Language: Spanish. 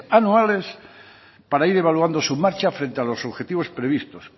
anuales para ir evaluando su marcha frente a los objetivos previstos